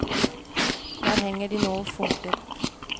Der henger de nå og funkler.